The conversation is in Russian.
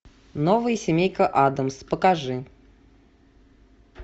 новая семейка аддамс покажи